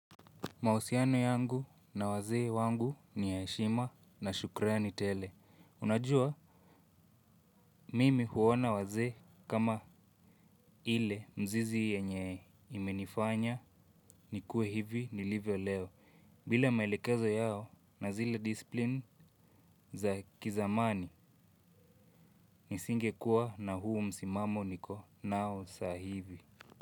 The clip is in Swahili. Mausiano yangu na wazee wangu ni ya heshima na shukrani tele. Unajua mimi huona wazee kama ile mzizi yenye imenifanya nikue hivi nilivyo leo. Bila maelekezo yao na zile disipline za kizamani nisingekuwa na huu msimamo niko nao saa hivi.